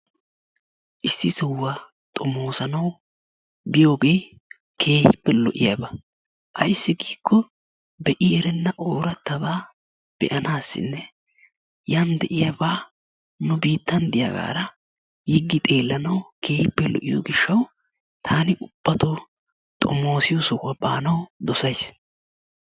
Issi sohuwa xomoosanawu biyogee keehippe lo"iyaba ayssi giikkoo be"i erenna oorattabaa be"anaassinne yan de"iyabaa nu biittan diyagaara yiggi xeellanawu keehippe lo"iyo gishshatauw taani ubbatoo xomoosiyo sohuwa baanawu dosayis.